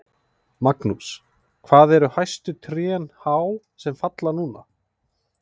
Magnús: Hvað eru hæstu trén há sem falla núna?